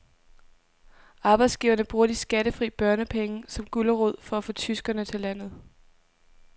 Arbejdsgiverne bruger de skattefri børnepenge som gulerod for at få tyskere til landet.